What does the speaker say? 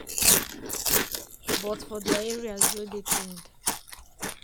"but for dia areas wey dey cleaned.